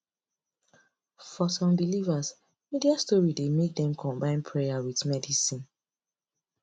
for some believers media story dey make dem combine prayer with medicine